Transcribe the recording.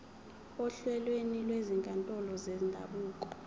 ohlelweni lwezinkantolo zendabuko